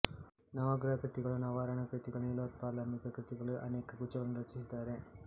ನವಗ್ರಹ ಕೃತಿಗಳು ನವಾವರಣ ಕೃತಿಗಳು ನೀಲೋತ್ಪಲಾಂಬಿಕಾ ಕೃತಿಗಳು ಎಂಬ ಅನೇಕ ಗುಚ್ಛಗಳನ್ನು ರಚಿಸಿದ್ದಾರೆ